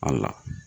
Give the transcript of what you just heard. A la